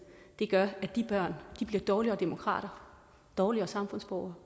gør at de børn bliver dårligere demokrater dårligere samfundsborgere